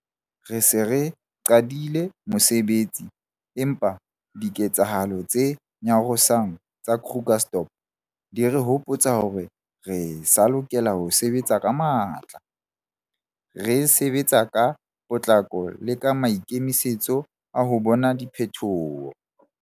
Re se re qadile mosebetsi, empa diketsehalo tse nyarosang tsa Krugersdorp di re hopotsa hore re sa lokela ho sebetsa ka matla, re sebetsa ka potlako le ka maikemisetso a ho bona diphetho.